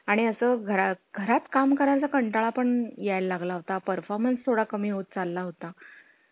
आणि असं घरा घरात काम करायचा कंटाळा पण यायला लागला होता performance थोडा कमी होत चालला होता.